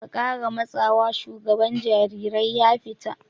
"Ka kara matsawa!" shugaban jarirai ya fita!